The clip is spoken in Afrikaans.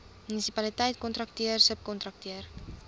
munisipaliteit kontrakteur subkontrakteur